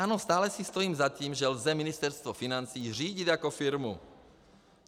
Ano, stále si stojím za tím, že lze Ministerstvo financí řídit jako firmu.